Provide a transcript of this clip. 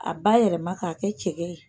A ba yɛlɛma k'a kɛ cɛkɛ ye.